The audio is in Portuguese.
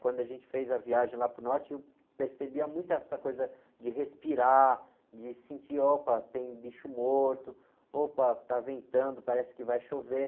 Quando a gente fez a viagem lá para o norte, eu percebia muito essa coisa de respirar, de sentir, opa, tem bicho morto, opa, está ventando, parece que vai chover.